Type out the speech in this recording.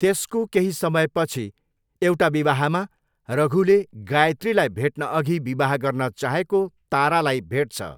त्यसको केही समयपछि एउटा विवाहमा रघुले गायत्रीलाई भेट्नअघि विवाह गर्न चाहेको तारालाई भेट्छ।